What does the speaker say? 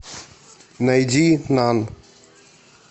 найди нан